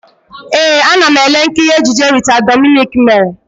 Ee, ana m ele nkiri ejije Rita Dominic mere.